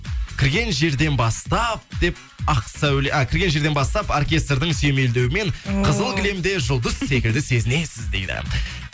кірген жерден бастап деп ақсәуле а кірген жерден бастап оркестрдің сүйемелдеуімен ооо қызыл кілемге жұлдыз секілді сезінесіз дейді